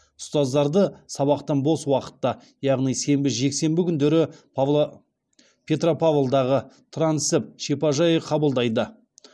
ұстаздарды сабақтан бос уақытта яғни сенбі жексенбі күндері петропавлдағы транссіб шипажайы қабылдайды